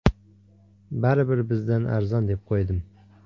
Baribir, bizdan arzon, deb qo‘ydim.